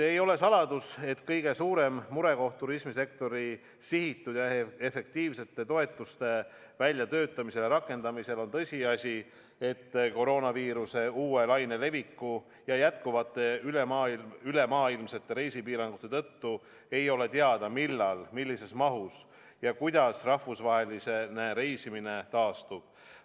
Ei ole saladus, et kõige suurem murekoht turismisektori sihitud ja efektiivsete toetuste väljatöötamisel ja rakendamisel on tõsiasi, et koroonaviiruse uue laine leviku ja jätkuvate ülemaailmsete reisipiirangute tõttu ei ole teada, millal, millises mahus ja kuidas rahvusvaheline reisimine taastub.